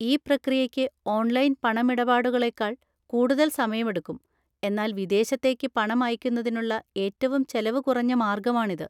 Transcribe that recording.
ഈ പ്രക്രിയയ്ക്ക് ഓൺലൈൻ പണമിടപാടുകളേക്കാൾ കൂടുതൽ സമയമെടുക്കും, എന്നാൽ വിദേശത്തേക്ക് പണം അയക്കുന്നതിനുള്ള ഏറ്റവും ചെലവ് കുറഞ്ഞ മാർഗമാണിത്.